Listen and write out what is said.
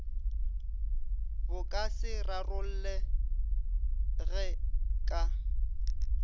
bo ka se rarollege ka